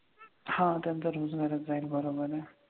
हां त्यांचा रोजगारच जाईल बरोबर आहे.